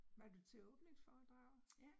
Var du til åbningsforedraget?